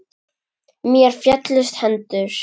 Mér féllust hendur.